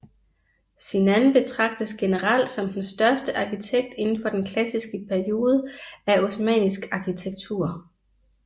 Sinan betragtes generelt som den største arkitekt indenfor den klassiske periode af osmannisk arkitektur